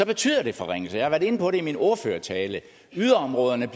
betyder det forringelser jeg har været inde på det i min ordførertale yderområderne